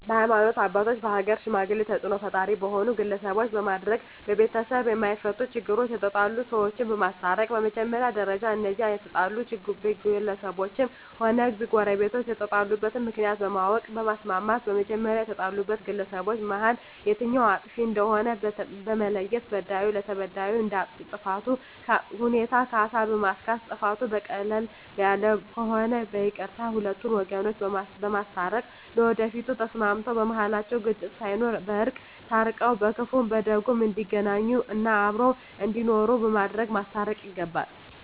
በሀይማኖት አባቶች በሀገር ሽማግሌ ተፅእኖ ፈጣሪ በሆኑ ግለሰቦች በማድረግ በቤተሰብ የማፈቱ ችግሮች የተጣሉ ሰዎችን በማስታረቅ በመጀመሪያ ደረጃ እነዚያ የተጣሉ ግለሰቦችም ሆነ ጎረቤቶች የተጣሉበትን ምክንያት በማወቅ በማስማማት በመጀመሪያ ከተጣሉት ግለሰቦች መሀል የትኛዉ አጥፊ እንደሆነ በመለየት በዳዩ ለተበዳዩ እንደ ጥፋቱ ሁኔታ ካሳ በማስካስ ጥፋቱ ቀለል ያለ ከሆነ በይቅርታ ሁለቱን ወገኖች በማስታረቅ ለወደፊቱ ተስማምተዉ በመሀላቸዉ ግጭት ሳይኖር በእርቅ ታርቀዉ በክፉም በደጉም እንዲገናኙ እና አብረዉ እንዲኖሩ በማድረግ ማስታረቅ ይገባል